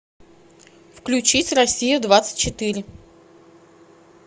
включить россия двадцать четыре